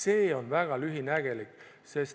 See on väga lühinägelik.